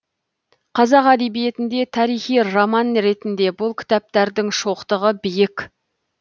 қазақ әдебиетінде тарихи роман ретінде бұл кітаптардың шоқтығы биік